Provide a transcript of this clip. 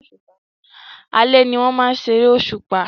Alẹ́ ni wọ́n máa ń ṣeré òṣùpá